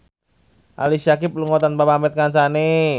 Ali Syakieb lunga tanpa pamit kancane